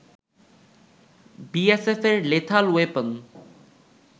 বিএসএফের lethal weapon